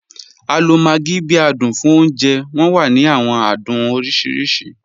A lo maggi bi adun fun ọ̀unjẹ, wọn wa ni awọn adun oriṣiriṣi.